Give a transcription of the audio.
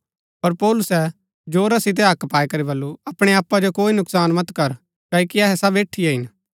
पर पौलुसै जोरा सितै हक्क पाई करी बल्लू अपणै आपा जो कोई नुकसान मत कर क्ओकि अहै सब ऐठीये ही हिन